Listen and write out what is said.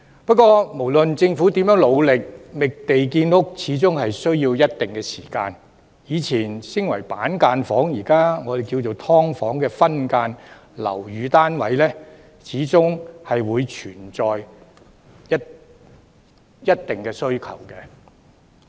不過，無論政府如何努力，覓地建屋需要一定時間，所以，以前稱為板間房、現時叫做"劏房"的分間樓宇單位，始終存在一定的需求。